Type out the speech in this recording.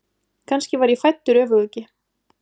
Kannski var ég fæddur öfuguggi.